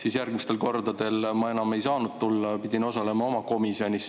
Ja järgmistel kordadel ma enam ei saanud tulla, pidin osalema oma komisjonis.